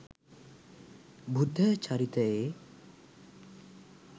බුද්ධ චරිතයේ